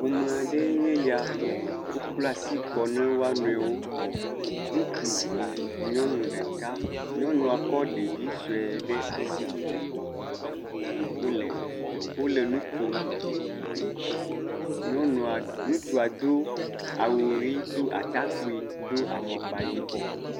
Ƒome aɖee nye ya. Wokpla asi kɔ na woa nɔewo. Ŋutsu ve, nyɔnu ɖeka. Nyɔnua kɔ ɖevi sue ɖe asi. Wole dzidzɔ, wole nu kom. Nyɔnua, ŋutsua do awu ʋi, do atakpui, do afɔkpa yibɔ.